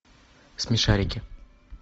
смешарики